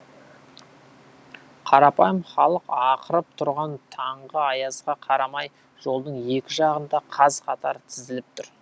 қарапайым халық ақырып тұрған таңғы аязға қарамай жолдың екі жағында қаз қатар тізіліп тұр